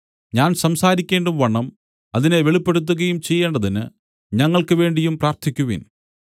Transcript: ഞാൻ സംസാരിക്കേണ്ടുംവണ്ണം അതിനെ വെളിപ്പെടുത്തുകയും ചെയ്യേണ്ടതിന് ഞങ്ങൾക്ക് വേണ്ടിയും പ്രാർത്ഥിക്കുവിൻ